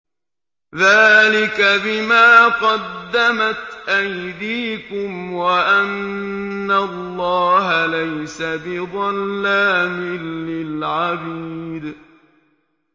ذَٰلِكَ بِمَا قَدَّمَتْ أَيْدِيكُمْ وَأَنَّ اللَّهَ لَيْسَ بِظَلَّامٍ لِّلْعَبِيدِ